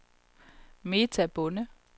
Meta Bonde